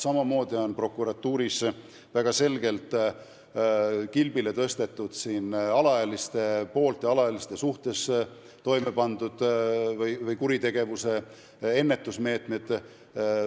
Samamoodi on prokuratuuris väga selgelt esile tõstetud alaealiste poolt ja alaealiste suhtes toime pandud kuritegude ennetuse meetmed.